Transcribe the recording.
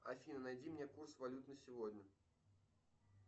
афина найди мне курс валют на сегодня